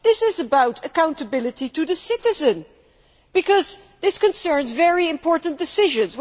This is about accountability to the citizen, because it concerns very important decisions.